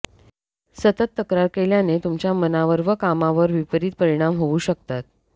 सतत तक्रार केल्याने तुमच्या मनावर व कामावर विपरीत परिणाम होऊ शकतात